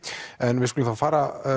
en við skulum þá fara